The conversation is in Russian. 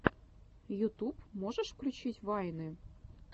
ютуб можешь включить вайны